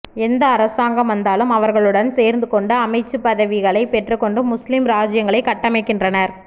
எந்த அரசாங்கம் வந்தாலும் அவர்களுடன் சேர்ந்துகொண்டு அமைச்சுப்பதவிகளை பெற்றுக்கொண்டு முஸ்லிம் இராஜ்ஜியங்களை கட்டமைக்கின்றனர்